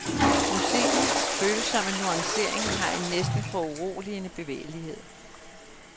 Musikkens følsomme nuancering har en næsten foruroligende bevægelighed.